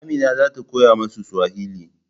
Amina za ta koya musu Suwali